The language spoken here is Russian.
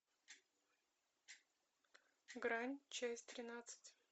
грань часть тринадцать